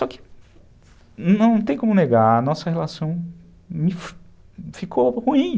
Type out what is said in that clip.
Só que não tem como negar, nossa relação ficou ruim.